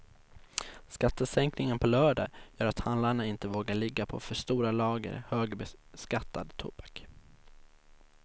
Skattesänkningen på lördag gör att handlarna inte vågar ligga på för stora lager högbeskattad tobak.